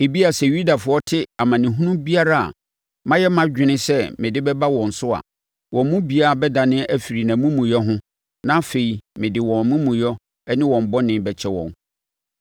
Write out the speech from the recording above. Ebia, sɛ Yudafoɔ te amanehunu biara a mayɛ mʼadwene sɛ mede bɛba wɔn so a, wɔn mu biara bɛdane afiri nʼamumuyɛ ho na afei mede wɔn amumuyɛ ne wɔn bɔne bɛkyɛ wɔn.”